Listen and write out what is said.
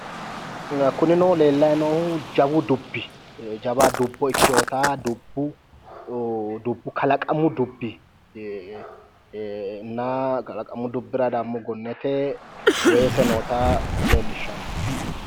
Kunino lellayi noohu jawu dubbi jawa dubbo ikkewoota kalaqamu dubbinna kalaqamu dubbira dammo gonnete weese noota leellishshanno.